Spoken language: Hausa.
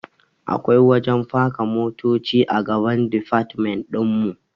Akwai wajen faka motoci a gaban difatmen ɗinmu